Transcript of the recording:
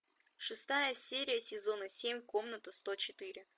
шестая серия сезона семь комната сто четыре